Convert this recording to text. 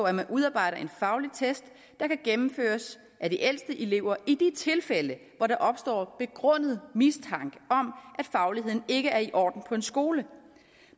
at man udarbejder en fagligt test der kan gennemføres af de ældste elever i de tilfælde hvor der opstår begrundet mistanke om at fagligheden ikke er i orden på en skole